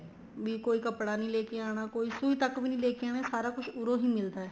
ਵੀ ਕੋਈ ਕੱਪੜਾ ਨਹੀਂ ਲੈਕੇ ਆਣਾ ਕੋਈ ਸੁੰਹੀ ਤੱਕ ਵੀ ਨਹੀਂ ਲੈਕੇ ਆਣੀ ਸਾਰਾ ਕੁੱਛ ਉਰੋ ਹੀ ਮਿਲਦਾ ਹੈ